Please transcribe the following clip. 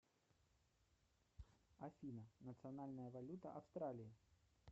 афина национальная валюта австралии